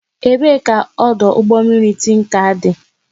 Ebe ka ọdụ ụgbọ mmiri Tinkan dị?